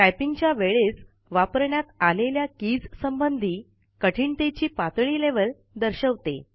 टाईपिंगच्या वेळेस वापरण्यात आलेल्या कीज संबंधी कठीणतेची पातळी लेव्हल दर्शवते